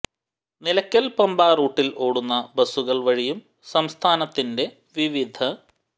നിലയ്ക്കൽ പമ്പ റൂട്ടിൽ ഓടുന്ന ബസുകൾ വഴിയും സംസ്ഥാനത്തിന്റെ വിവിധ